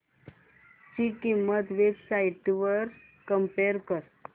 ची किंमत web sites वर कम्पेअर कर